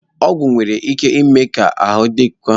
Ọgwụ nwere ike ime ka ahụ dịkwuo gị mma ma ọ bụ ka njọ